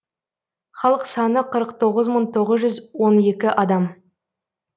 халық саны қырық тоғыз мың тоғыз жүз он екі адам